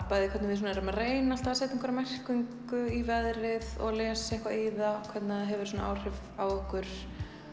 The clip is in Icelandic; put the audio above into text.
bæði hvernig við svona erum að reyna alltaf að setja einhverja merkingu í veðrið og lesa eitthvað í það hvernig það hefur svona áhrif á okkur